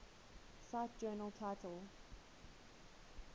cite journal title